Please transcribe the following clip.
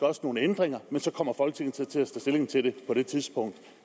også nogle ændringer men så kommer folketinget til at tage stilling til det på det tidspunkt